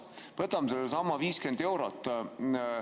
Võtame sellesama 50 eurot.